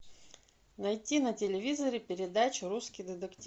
найти на телевизоре передачу русский детектив